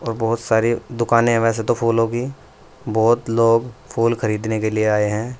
और बहुत सारी दुकाने हैं वैसे तो फूलों की बहुत लोग फूल खरीदने के लिए आए हैं।